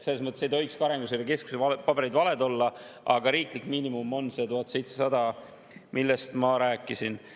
Selles mõttes ei tohiks ka Arenguseire Keskuse paberid valed olla, aga riiklik miinimum on 1700, millest ma rääkisin.